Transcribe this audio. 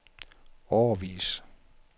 årevis